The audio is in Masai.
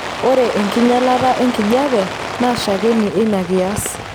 Ore enkinyialata enkijiepe naa shakeni einakias.